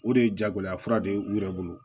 O de ye jagoya fura de ye u yɛrɛ bolo